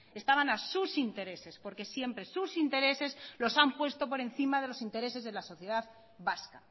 estaban a sus intereses porque siempre sus intereses los han puesto por encima de los intereses de la sociedad vasca